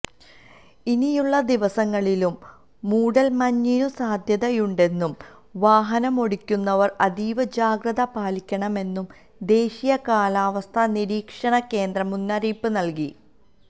ഇനിയുള്ള ദിവസങ്ങളിലും മൂടല്മഞ്ഞിനു സാധ്യതയുണ്ടെന്നും വാഹനമോടിക്കുന്നവര് അതീവ ജാഗ്രത പാലിക്കണമെന്നും ദേശീയ കാലാവസ്ഥാ നിരീക്ഷണകേന്ദ്രം മുന്നറിയിപ്പു നല്കി